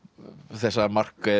þessa